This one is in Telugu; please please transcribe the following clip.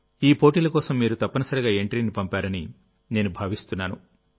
ఈ పోటీల కోసం మీరు తప్పనిసరిగా ఎంట్రీని పంపారని నేను భావిస్తున్నాను